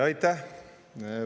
Aitäh!